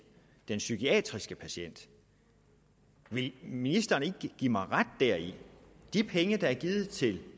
den psykiatriske patient vil ministeren ikke give mig ret deri de penge der er givet til